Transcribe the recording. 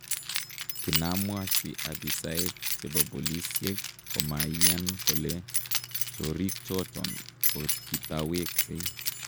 "Kinamwachi opisaek chebo polisyeek , komaiyaan kole choriik choton kokitaweksei"